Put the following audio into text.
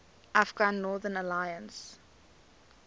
afghan northern alliance